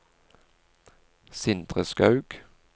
Sindre Skaug